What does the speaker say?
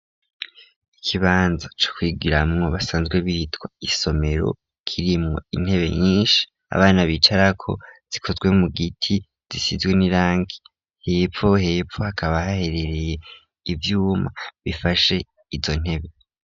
Ikibanza, co kwigwiramwo basanzwe bihitwa isomero, kirimwo intebe nyinshi, abana bicarako; zikozwe mu giti, zisizwe n'irangi hepfo, hepfo hakaba haherereye ivyuma, bifashe izo ntebe.